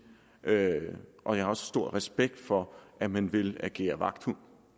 og jeg har også stor respekt for at man vil agere vagthund